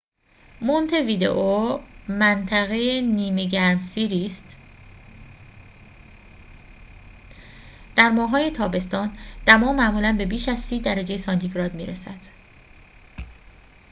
مونته‌ویدئو منطقه نیمه گرمسیری است در ماه‌های تابستان دما معمولاً به بیش از ۳۰ درجه سانتی‌گراد می‌رسد